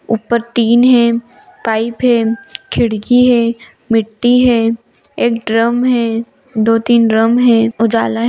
ऊपर टीन है पाइप है खिड़की है मिट्टी है एक ड्रम है दो तीन ड्रम है उजाला है।